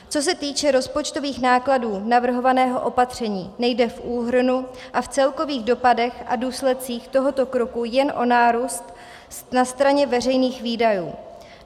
Co se týče rozpočtových nákladů navrhovaného opatření, nejde v úhrnu a v celkových dopadech a důsledcích tohoto kroku jen o nárůst na straně veřejných výdajů.